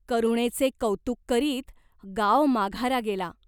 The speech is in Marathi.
करुणेचे कौतुक करीत गाव माघारा गेला.